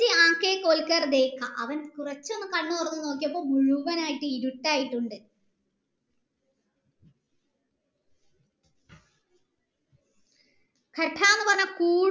അവൻ കുറച്ചു ഒന്ന് കണ്ണു തുറന്നു നോക്കിയപ്പോ മുഴുവനായിട്ട് ഇരുട്ട് ആയിട്ടുണ്ട് എന്ന് പറഞ്ഞ